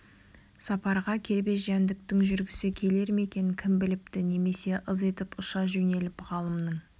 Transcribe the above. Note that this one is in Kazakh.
сапарға кербез жәндіктің жүргісі келер ме екен кім біліпті немесе ыз етіп ұша жөнеліп ғалымның